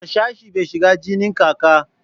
Harsashe bai shigan ginin kaka